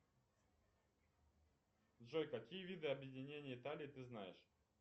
джой какие виды объединения италии ты знаешь